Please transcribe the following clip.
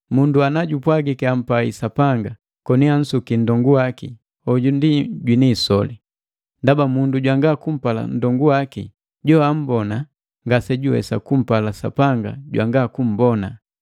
Mundu anajupwagiki ampai Sapanga, koni ansukia nndongu waki, hoju ndi jwini isoli. Ndaba mundu jwanga kumpala nndongu waki joammbona, ngasejuwesa kumpala Sapanga jwanga kummbona.